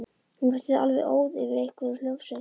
Hún virtist alveg óð yfir einhverri hljómsveit.